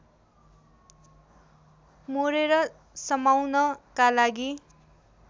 मोरेर समाउनका लागि